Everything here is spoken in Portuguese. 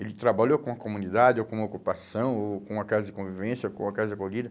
Ele trabalhou com a comunidade, ou com a ocupação, ou com a casa de convivência, ou com a casa de acolhida.